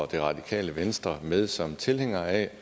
det radikale venstre med som tilhængere af